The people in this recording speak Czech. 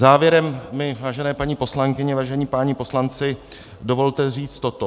Závěrem mi, vážené paní poslankyně, vážení páni poslanci, dovolte říci toto.